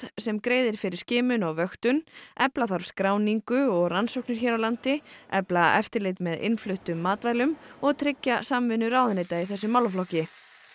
sem greiðir fyrir skimun og vöktun efla skráningu og rannsóknir hér á landi efla eftirlit með innfluttum matvælum og tryggja samvinnu ráðuneyta í þessum málaflokki